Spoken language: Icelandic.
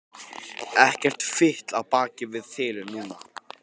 Ekkert fitl á bak við þil núna.